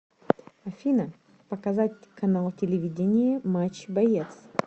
афина показать канал телевидения матч боец